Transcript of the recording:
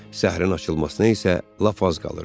Səhərin açılmasına isə lap az qalırdı.